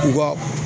U ka